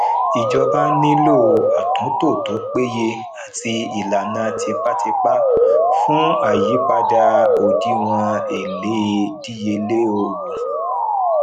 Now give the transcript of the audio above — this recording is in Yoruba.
ìjọba nílò atunto tó péye àti ìlànà tipatipa fún ayípadà òdiwọn ele díyelé owó